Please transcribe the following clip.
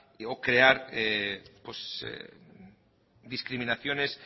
o crear discriminaciones